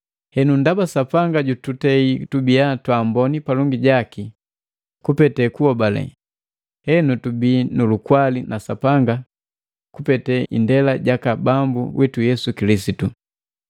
Henu, ndaba Sapanga jututei tubia twaamboni palongi jaki kupete kuhobale, henu tubii nulukwali na Sapanga kupete indela jaka Bambu witu Yesu Kilisitu.